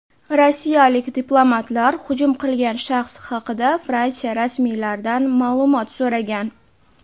rossiyalik diplomatlar hujum qilgan shaxs haqida Fransiya rasmiylaridan ma’lumot so‘ragan.